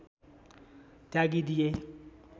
त्यागी दिए